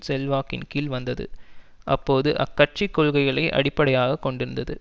செல்வாக்கின் கீழ் வந்தது அப்போது அக்கட்சிக் கொள்கைகளை அடிப்படையாக கொண்டிருந்தது